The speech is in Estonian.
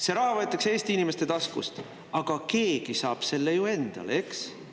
See raha võetakse Eesti inimeste taskust, aga keegi saab selle ju endale, eks.